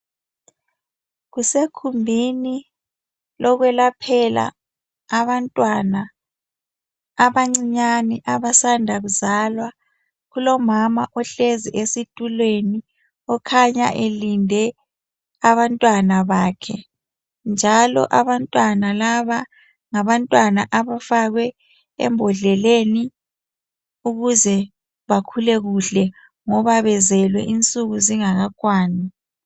Kusekhumbini lokwelaphela abantwana abancinyane abasanda kuzalwa. Kulomama ohlezi esitulweni, okhanya elinde abantwana bakhe. Njalo abantwana laba, ngabantwana abafakwe embodleleni, ukuze bakhule kuhle, ngoba bezelwe insuku zingakakwani.